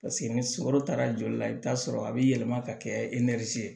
ni sukoro taara joli la i bɛ t'a sɔrɔ a bɛ yɛlɛma ka kɛ ye